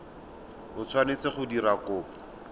o tshwanetseng go dira kopo